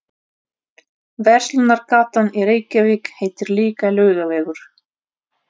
Verslunargatan í Reykjavík heitir líka Laugavegur.